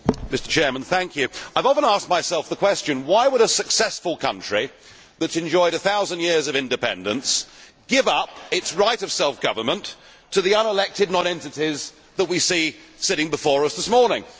Mr President, I have often asked myself the question why would a successful country that has enjoyed a thousand years of independence give up its right of self government to the unelected nonentities that we see sitting before us this morning?